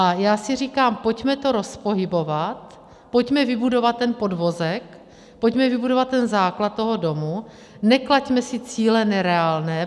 A já si říkám, pojďme to rozpohybovat, pojďme vybudovat ten podvozek, pojďme vybudovat ten základ toho domu, neklaďme si cíle nereálné.